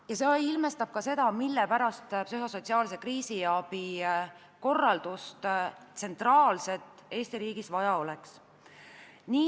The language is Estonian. Ja see ilmestab ka seda, mille pärast tsentraalset psühhosotsiaalse kriisiabi korraldust Eesti riigis vaja oleks.